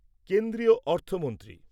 কেন্দ্রীয় অর্থমন্ত্রী